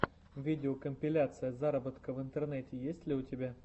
видеокомпиляция заработка в интернете есть ли у тебя